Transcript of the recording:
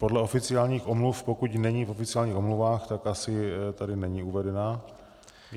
Podle oficiálních omluv, pokud není v oficiálních omluvách, tak asi tady není uvedena.